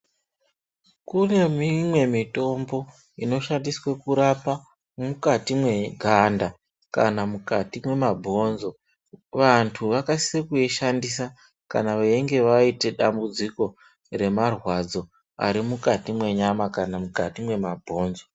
Kune mimwe mitombo inoshandiswe kurapa mukati mweganda kana mukati mwemabhonzo. Vantu vakasise kuishandisa kana veinge vaite dambudziko remarwadzo arimukati mwenyama kana mukati mwemabhonzo.